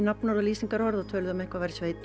nafnorð og lýsingarorð og töluðu um að eitthvað væri